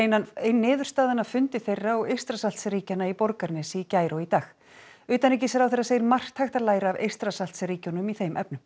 ein niðurstaðan af fundi þeirra og Eystrasaltsríkjanna í Borgarnesi í gær og í dag utanríkisráðherra segir margt hægt að læra af Eystrasaltsríkjunum í þeim efnum